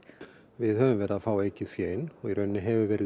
við höfum verið að fá aukið fé inn og í rauninni hefur verið